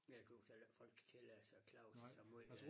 Jeg tøs heller ikke folk kan tillade sig at klage så meget ved det